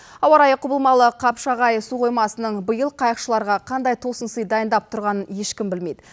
ауа райы құбылмалы қапшағай су қоймасының биыл қайықшыларға қандай тосынсый дайындап тұрғанын ешкім білмейді